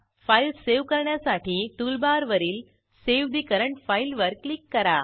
file save करण्यासाठी टूलबारवरील save ठे करंट फाइल वर क्लिक करा